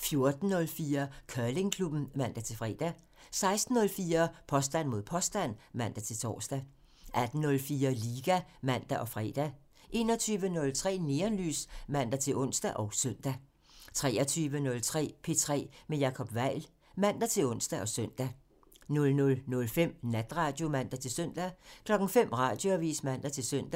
14:04: Curlingklubben (man-fre) 16:04: Påstand mod påstand (man-tor) 18:04: Liga (man og fre) 21:03: Neonlys (man-ons og søn) 23:03: P3 med Jacob Weil (man-ons og søn) 00:05: Natradio (man-søn) 05:00: Radioavisen (man-søn)